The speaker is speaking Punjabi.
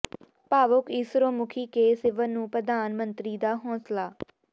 ਭਾਵੁਕ ਇਸਰੋ ਮੁਖੀ ਕੇ ਸਿਵਨ ਨੂੰ ਪ੍ਰਧਾਨ ਮੰਤਰੀ ਦਾ ਹੌਸਲਾ